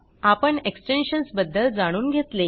आपण एक्सटेन्शन्स बद्दल जाणून घेतले